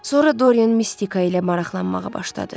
Sonra Dorian mistika ilə maraqlanmağa başladı.